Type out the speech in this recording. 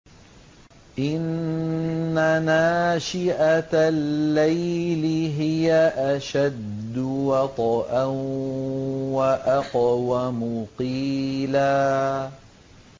إِنَّ نَاشِئَةَ اللَّيْلِ هِيَ أَشَدُّ وَطْئًا وَأَقْوَمُ قِيلًا